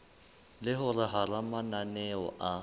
le hore hara mananeo a